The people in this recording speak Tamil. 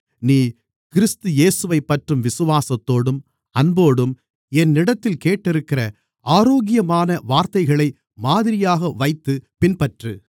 நீ கிறிஸ்து இயேசுவைப்பற்றும் விசுவாசத்தோடும் அன்போடும் என்னிடத்தில் கேட்டிருக்கிற ஆரோக்கியமான வார்த்தைகளை மாதிரியாக வைத்துப் பின்பற்று